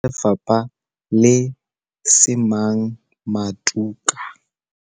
Sebueledi sa Lefapha, Le semang Matuka,